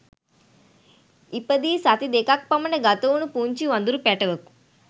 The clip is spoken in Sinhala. ඉපදී සති දෙකක් පමණ ගතවුණු පුංචි වඳුරු පැටවකු